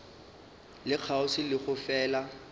le kgauswi le go fela